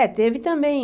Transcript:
É, teve também.